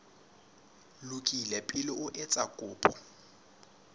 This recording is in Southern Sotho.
lokile pele o etsa kopo